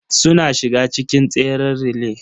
Suna shiga cikin tseren relay.